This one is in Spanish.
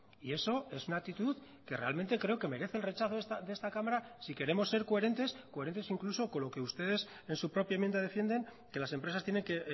y eso es una actitud que realmente creo que merece el rechazo de esta cámara si queremos ser coherentes coherentes incluso con lo que ustedes en su propia enmienda defienden que las empresas tienen que